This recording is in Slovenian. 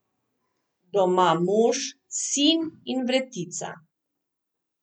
Doma mož, sin in vretica.